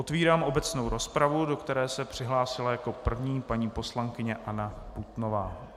Otvírám obecnou rozpravu, do které se přihlásila jako první paní poslankyně Anna Putnová.